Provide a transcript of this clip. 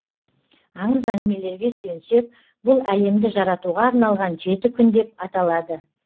аңыз әңгімелерге сүйенсек бұл әлемді жаратуға арналған жеті күн деп аталады